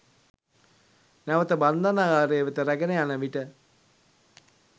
නැවත බන්ධනාගාරය වෙත රැගෙන යන විට